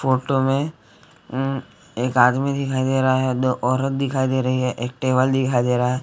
Photo में उम एक आदमी दिखाई दे रहा है दो औरत दिखाई दे रही है एक टेबल दिखाई दे रहा हैं ।